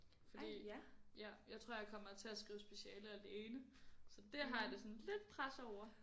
Fordi ja fordi jeg tror jeg kommer til at skrive speciale alene så dét har jeg det sådan lidt presset over